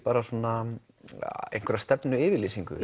einhverja stefnuyfirlýsingu